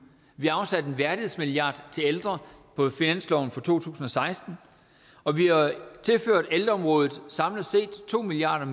vi har afsat en værdighedsmilliard til ældre på finansloven for to tusind og seksten og vi har tilført ældreområdet samlet set to milliard